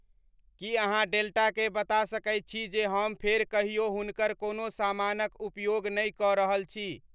की अहाँ डेल्टा के बता सकैत छी जे हम फेर कहियो हुनकर कोनो सामानक उपयोग नै क रहल छी